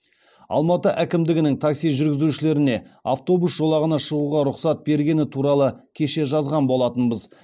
алматы әкімдігінің такси жүргізушілеріне автобус жолағына шығуға рұқсат бергені туралы кеше жазған болатынбыз